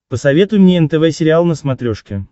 посоветуй мне нтв сериал на смотрешке